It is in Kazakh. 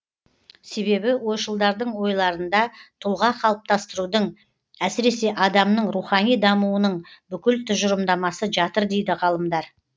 себебі ойшылдардың ойларында тұлға қалыптастырудың әсіресе адамның рухани дамуының бүкіл тұжырымдамасы жатыр дейді ғалымдар